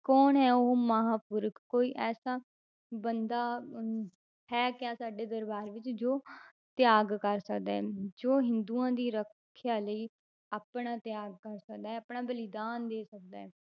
ਕੌਣ ਹੈ ਉਹ ਮਹਾਂਪੁਰਖ ਕੋਈ ਐਸਾ ਬੰਦਾ ਅਹ ਹੈ ਕਿਆ ਸਾਡੇ ਦਰਬਾਰ ਵਿੱਚ ਜੋ ਤਿਆਗ ਕਰ ਸਕਦਾ ਹੈ ਜੋ ਹਿੰਦੂਆਂ ਦੀ ਰੱਖਿਆ ਲਈ ਆਪਣਾ ਤਿਆਗ ਕਰ ਸਕਦਾ ਹੈ ਆਪਣਾ ਬਲੀਦਾਨ ਦੇ ਸਕਦਾ ਹੈ,